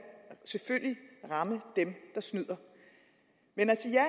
selvfølgelig ramme dem der snyder men at sige ja